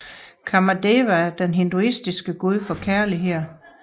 Kāmadeva er den hinduistiske gud for kærlighed